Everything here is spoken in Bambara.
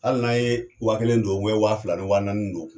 Hali n'an ye wa kelen don wa fila ni wa naani don